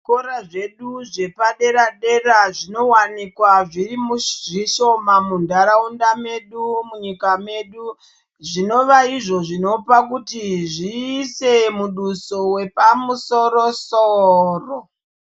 Zvikora zvedu zvepadera-dera zvinowanikwa zviri zvishoma muntaraunda medu, munyika medu zvinova izvo zvinopa kuti zviise muduso wepamusoro-soro.